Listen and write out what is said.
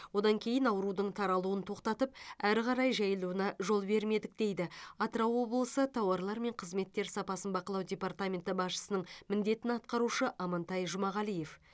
одан кейін аурудың таралуын тоқтатып әрі қарай жайылуына жол бермедік дейді атырау облысы тауарлар мен қызметтер сапасын бақылау департаменті басшысының міндетін атқарушы амантай жұмағалиев